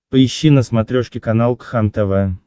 поищи на смотрешке канал кхлм тв